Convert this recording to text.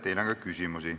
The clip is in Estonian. Teile on ka küsimusi.